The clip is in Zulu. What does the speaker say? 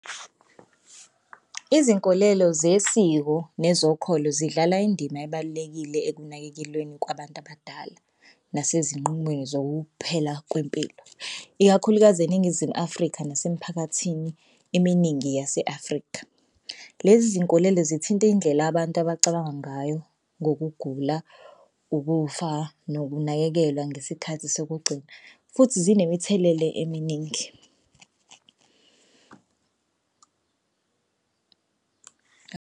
Izinkolelo zesiko nezokholo zidlala indima ebalulekile ekunakekelweni kwabantu abadala nasezinqumweni zokuphela kwempilo, ikakhulukazi eNingizimu Afrika nasemphakathini eminingi yase-Afrika. Lezi zinkolelo zithinta indlela abantu abacabanga ngayo ngokugula, ukufa, nokunakekelwa ngesikhathi sokugcina futhi zinemithelele eminingi.